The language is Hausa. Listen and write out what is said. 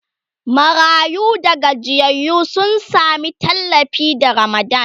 marayu da gajiyayyu sun Sami tallafi da ramadan